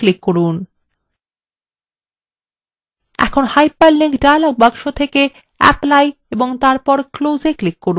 এখন hyperlink dialog box থেকে apply click করুন এবং তারপর close এ click করুন